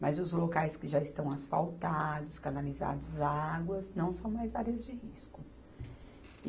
Mas os locais que já estão asfaltados, canalizados, águas, não são mais áreas de risco.